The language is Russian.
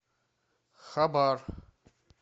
хабар